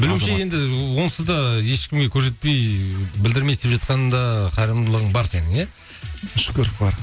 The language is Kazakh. білуімше енді ыыы онсызда ешкімге көрсетпей білдірмей істеп жатқан да қайырымдылығың бар сенің иә шүкір бар